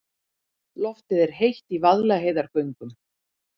Loftið er heitt í Vaðlaheiðargöngum.